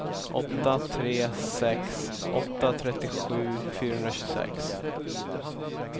åtta tre sex åtta trettiosju fyrahundratjugosex